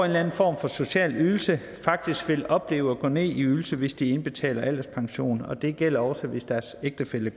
eller anden form for social ydelse faktisk vil opleve at gå ned i ydelse hvis de indbetaler alderspension og det gælder også hvis deres ægtefælle